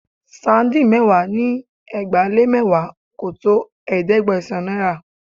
Sardine mẹ́wàá ni ẹgbàá-lé-mẹ́wàá kò tó ẹ̀ẹ́dẹ́gbẹ̀sán naira